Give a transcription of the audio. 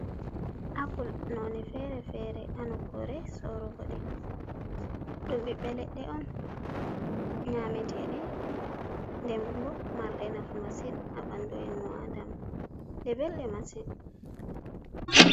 Apple none fere-fere ha nokkure sorugo ɗi. Ɗum ɓiɓɓe leɗɗe on, nyameteɗe, nden bo marɗe nafu masin ha ɓandu ennu Adama. Ɗe belɗe masin.